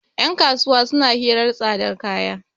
yankasuwa suna hirar tsadar kaya